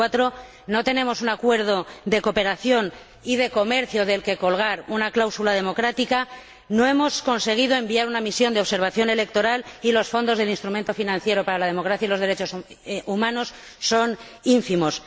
2004. No tenemos un acuerdo de cooperación y de comercio del que colgar una cláusula democrática, no hemos conseguido enviar una misión de observación electoral y los fondos del Instrumento Financiero para la Democracia y los Derechos Humanos son ínfimos.